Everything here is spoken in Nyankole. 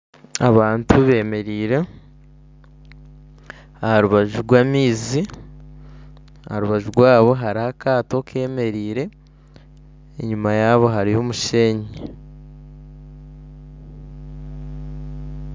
Abantu bemereire aha rubaju rw'amaizi aha rubaju rwabo hariho akaato kemereire enyuma yabo hariyo omushenyi.